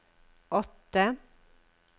åtte